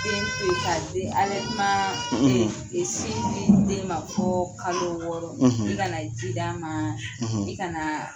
Den to yen ka den alɛtimaa e e sin di den ma fɔ kalo wɔɔrɔ i kana ji ma i kana